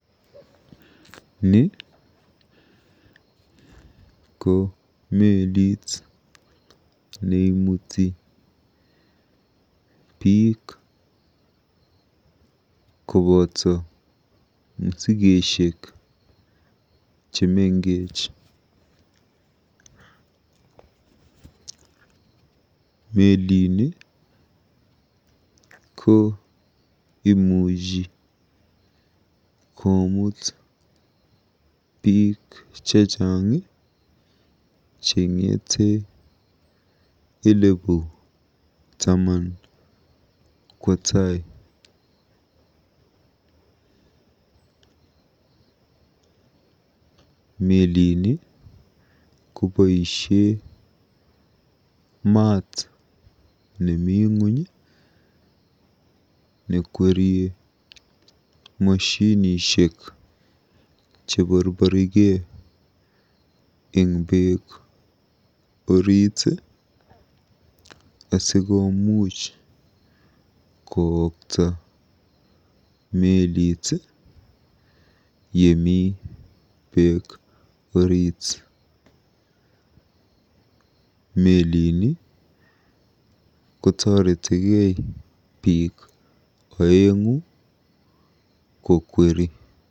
Ni ko meelit neimuti biik koboto musikesiek chemengech. Melini komuchi koomut biik chechang, cheng'ete elebu taman kwo tai. Melini koboisie maat nemi ng'ony nekwerie moshinishek cheborborikei eng beek asikomuuch kookta melit yemi beek orit. Melini kotoretikei biik oeng'u kokweri.